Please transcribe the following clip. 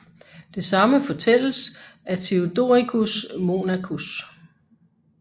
Det samme fortælles af Theodoricus Monachus